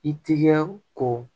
I tigɛ ko